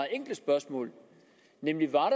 enkle spørgsmål nemlig om